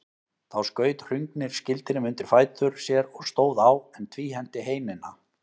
Þá skaut Hrungnir skildinum undir fætur sér og stóð á, en tvíhenti heinina.